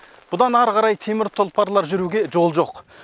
бұдан әрі қарай темір тұлпарлар жүруге жол жоқ